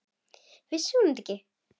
Vissi hún ekki?